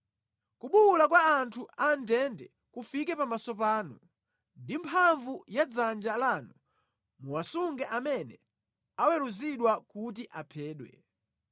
Kubuwula kwa anthu a mʼndende kufike pamaso panu; ndi mphamvu ya dzanja lanu muwasunge amene aweruzidwa kuti aphedwe.